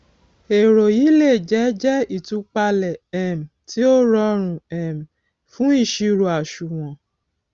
èrò yìí le jẹ jẹ ìtúpalẹ um tí ó rọrùn um fún ìṣirò àṣùwòn